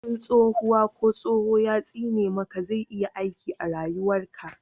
in tsohuwa ko tsoho ya tsine maka zai iya aiki a rayuwar ka